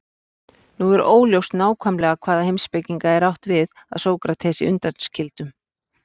Nú er óljóst nákvæmlega hvaða heimspekinga er átt við að Sókratesi undanskildum.